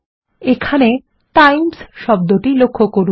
এখানে টাইমস শব্দটি লক্ষ্য করুন